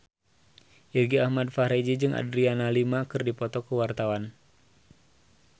Irgi Ahmad Fahrezi jeung Adriana Lima keur dipoto ku wartawan